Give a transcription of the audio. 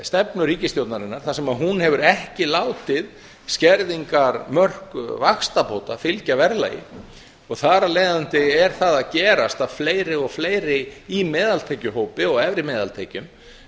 stefnu ríkisstjórnarinnar þar sem hún hefur ekki látið skerðingarmörk vaxtabóta fylgja verðlagi þar af leiðandi er það að gerast að fleiri og fleiri í meðaltekjuhópi og efri meðaltekjum